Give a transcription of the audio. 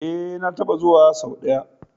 E, na taɓa zuwa sau ɗaya.